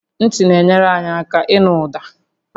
Ntị na-enyere anyị aka ịnụ ụda